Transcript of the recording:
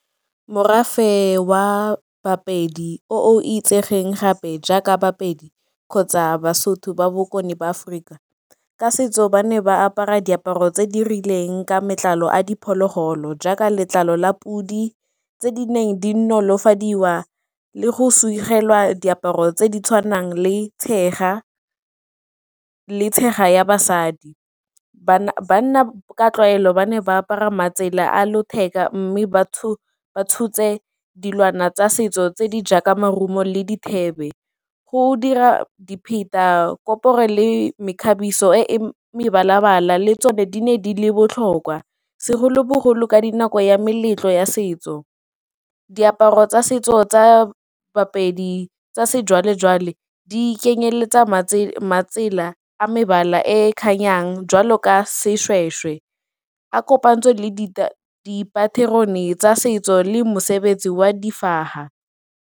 Morafe wa ba-Pedi o itsegeng gape jaaka ba-Pedi kgotsa ba-Sotho ba Bokone ba Aforika, ka setso ba ne ba apara diaparo tse di rileng ka matlalo a diphologolo jaaka letlalo la podi tse di neng di nolofadiwa le go segelwa diaparo tse di tshwanang le tshega ya basadi. Banna ka tlwaelo ba ne ba apara matsela a letheka mme ba tshotse dilwana tsa setso tse di jaaka maungo le go dira dipheta, le mekgabiso e e mebala-bala le tsone di ne di le botlhokwa segolobogolo ka dinako ya meletlo ya setso. Diaparo tsa setso tsa ba-Pedi tsa sejwalejwale di kenyeletsa matsela a mebala e kganyang jwalo ka seshweshwe a kopantsweng le dipaterone tsa setso le mosebetsi wa .